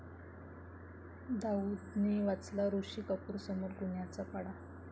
दाऊदने वाचला ऋषी कपूरसमोर गुन्ह्यांचा पाढा